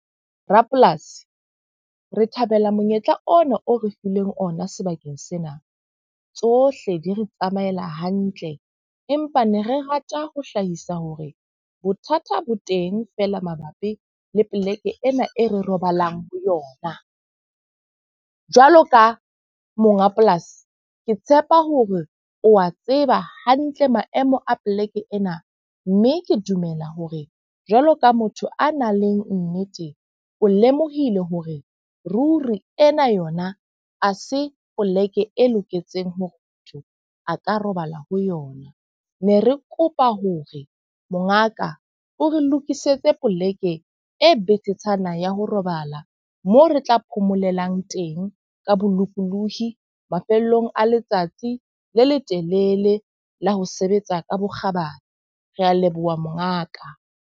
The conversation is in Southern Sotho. Rapolasi, re thabela monyetla ona o re fileng ona sebakeng sena. Tsohle di re tsamaela hantle. Empa ne re rata ho hlahisa hore bothata bo teng feela mabapi le poleke ena e re robalang ho yona. Jwalo ka monga polasi, ke tshepa hore o a tseba hantle maemo a poleke ena. Mme ke dumela hore jwalo ka motho a nang le nnete, o lemohile hore ruri ena yona ha se poleke e loketseng hore motho a ka robala ho yona. Ne re kopa hore mongaka o re lokisetse poleke e betetshana ya ho robala moo re tla phomolang teng ka bolokolohi mafellong a letsatsi le letelele la ho sebetsa ka bokgabane. Re a leboha mongaka.